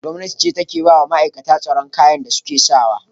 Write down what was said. Gwamnati ce ke ba wa ma'aikatar tsaron kayan da suke sa wa.